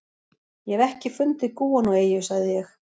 Ég hef ekki fundið gúanóeyju, sagði ég.